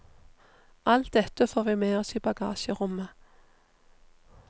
Alt dette får vi med oss i bagasjerommet.